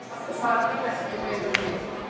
Það þarf ekki meira til.